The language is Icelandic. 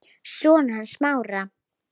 Sonur hans Smára.